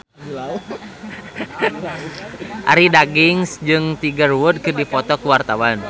Arie Daginks jeung Tiger Wood keur dipoto ku wartawan